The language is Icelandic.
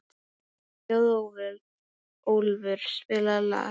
Þjóðólfur, spilaðu lag.